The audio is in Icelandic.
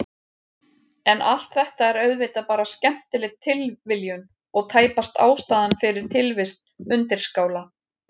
En allt þetta er auðvitað bara skemmtileg tilviljun og tæpast ástæðan fyrir tilvist undirskála.